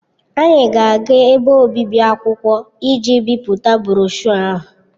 Anyị ga-aga ebe obibi akwụkwọ iji bipụta broshuọ ahụ.